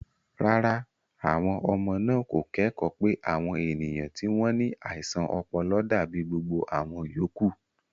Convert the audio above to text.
Rárá, àwọn ọmọ náà kò kẹ́kọ̀ọ́ pé àwọn ènìyàn tí wọ́n ní àìsàn ọpọlọ dàbí gbogbo àwọn yòókù.